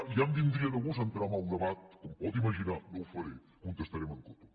ja em vindria de gust entrar en el debat com pot imaginar no ho faré contestaré en coto